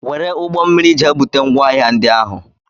Were ụgbọmmiri jee bute ngwaahịa ndị ahụ!